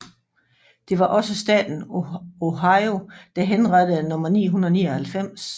Det var også staten Ohio der henrettede nummer 999